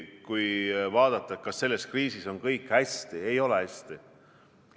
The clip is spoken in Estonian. Kui vaadata, kas selles kriisis on kõik hästi – ei ole hästi.